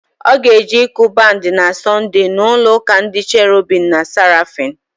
Ọ ga-eje ịkụ bandị na Sọnde n'ụlọụ́kà ndị Cherobim na Serafim.